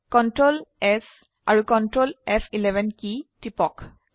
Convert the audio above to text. সেয়ে Ctrl এএমপিএছ আাৰু Ctrl এএমপিএফ11 কী টিপক